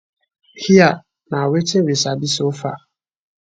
hia na wetin we sabi so far